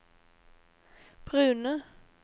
brune